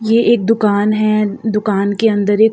ये एक दुकान है। दुकान के अंदर एक --